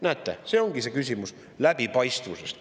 Näete, see ongi see küsimus kulude läbipaistvusest.